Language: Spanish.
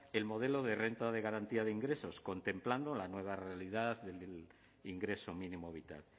el modelo de renta de garantía de ingresos contemplando la nueva realidad del ingreso mínimo vital